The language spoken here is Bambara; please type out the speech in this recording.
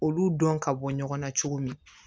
Olu dɔn ka bɔ ɲɔgɔn na cogo min